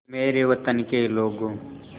ऐ मेरे वतन के लोगों